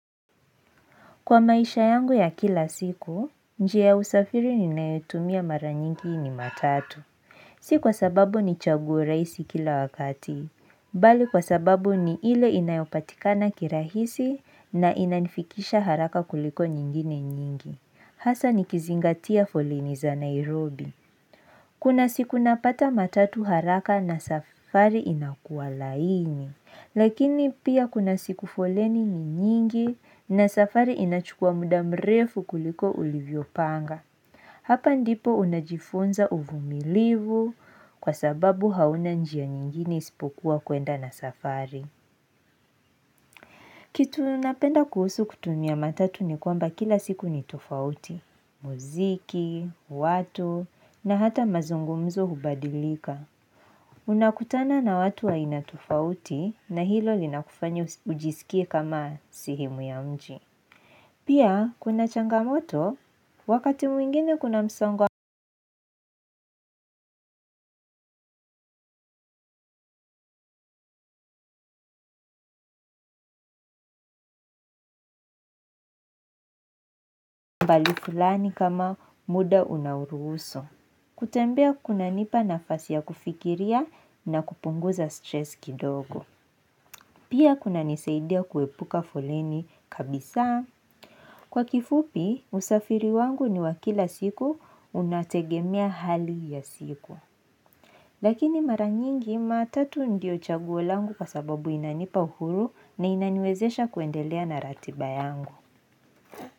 Kwa maisha yangu ya kila siku, njia ya usafiri ninayotumia mara nyingi ni matatu. Si kwa sababu ni chaguo rahisi kila wakati. Bali kwa sababu ni ile inayopatikana kirahisi na inanifikisha haraka kuliko nyingine nyingi. Hasa nikizingatia foleni za Nairobi. Kuna siku napata matatu haraka na safari inakuwa laini. Lakini pia kuna siku foleni ni nyingi na safari inachukua muda mrefu kuliko ulivyopanga. Hapa ndipo unajifunza uvumilivu kwa sababu hauna njia nyingine isipokuwa kuenda na safari. Kitu napenda kuhusu kutumia matatu ni kwamba kila siku ni tofauti. Muziki, watu na hata mazungumzo hubadilika. Unakutana na watu wa aina tofauti na hilo linakufanya ujisikie kama sehemu ya mji. Pia kuna changamoto, wakati mwingine kuna msongo wa fulani kama muda unauruhusu. Kutembea kunanipa nafasi ya kufikiria na kupunguza stress kidogo. Pia kunanisaidia kuepuka foleni kabisaa. Kwa kifupi, usafiri wangu ni wa kila siku, unategemea hali ya siku. Lakini mara nyingi matatu ndio chaguo langu kwa sababu inanipa uhuru na inaniwezesha kuendelea na ratiba yangu.